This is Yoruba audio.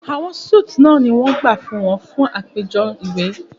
Awọn suites náà ni wọ́n gbà fún wọn fún àpéjọ náà iwe